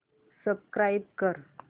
subscribe कर